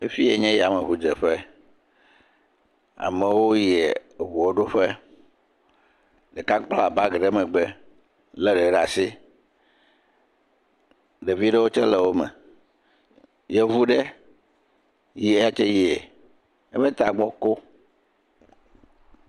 Afiyae nye yameʋu dzeƒe. Amewo yie eʋua ɖo ƒe. Ɖeka kpla bagi ɖe megbe le hɛ ɖe asi. Ɖevi ɖewo tse le eme. Yevu ɖe yatse yie, eƒe tagbɔ ko.